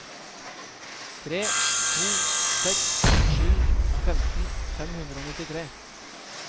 tre to seks sju femten fem hundre og nittitre